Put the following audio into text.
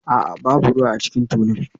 A'a, babu ruwa a cikin tulun